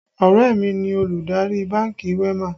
Ọ̀rẹ́ mi ni olùdarí bánkì WEMA